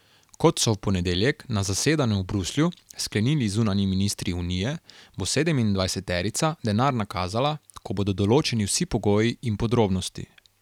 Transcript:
Kot so v ponedeljek na zasedanju v Bruslju sklenili zunanji ministri unije, bo sedemindvajseterica denar nakazala, ko bodo določeni vsi pogoji in podrobnosti.